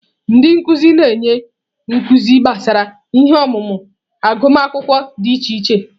Ndị nkuzi na-enye nkuzi gbasara ihe ọmụmụ agụmakwụkwọ dị iche iche.